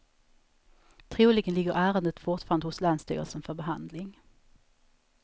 Troligen ligger ärendet fortfarande hos länsstyrelsen för behandling.